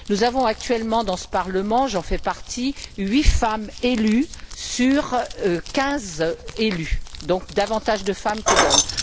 Nous avons actuellement dans ce Parlement j'en fais partie huit femmes élues sur quinze élus, soit davantage de femmes que d'hommes.